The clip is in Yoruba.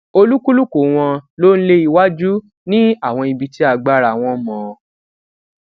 olúkúlùkù wọn ló ń lé iwájú ní àwọn ibi tí agbára wọn mọ